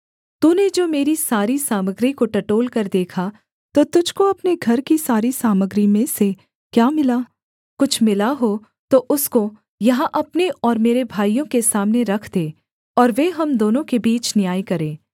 तूने जो मेरी सारी सामग्री को टटोलकर देखा तो तुझको अपने घर की सारी सामग्री में से क्या मिला कुछ मिला हो तो उसको यहाँ अपने और मेरे भाइयों के सामने रख दे और वे हम दोनों के बीच न्याय करें